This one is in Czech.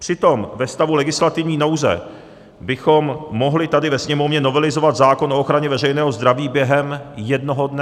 Přitom ve stavu legislativní nouze bychom mohli tady ve Sněmovně novelizovat zákon o ochraně veřejného zdraví během jednoho dne.